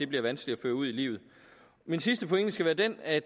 bliver vanskelig at føre ud i livet min sidste pointe skal være den at